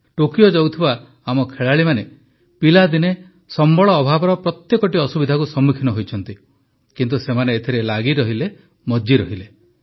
Tokyo ଯାଉଥିବା ଆମ ଖେଳାଳିମାନେ ପିଲାଦିନେ ସମ୍ବଳ ଅଭାବର ପ୍ରତ୍ୟେକଟି ଅସୁବିଧାକୁ ସମ୍ମୁଖୀନ ହୋଇଛନ୍ତି କିନ୍ତୁ ସେମାନେ ଏଥିରେ ଲାଗି ରହିଲେ ମଜ୍ଜି ରହିଲେ